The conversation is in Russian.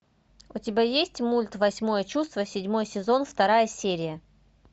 у тебя есть мульт восьмое чувство седьмой сезон вторая серия